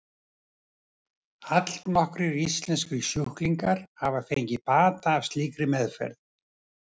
Allnokkrir íslenskir sjúklingar hafa fengið bata af slíkri meðferð.